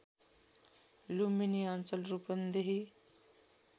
लुम्बिनी अञ्चल रूपन्देही